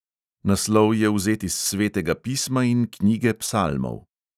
Naslov je vzet iz svetega pisma in knjige psalmov.